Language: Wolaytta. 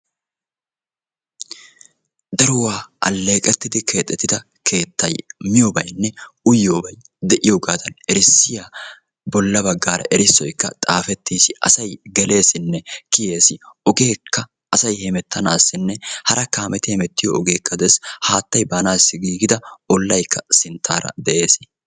daruwa aleeeqettidi keexettida keettay bola bagaara miyoobaynne uyyiyoobay xaafettis. asay kiyeessinne geleesi. ogeekka des.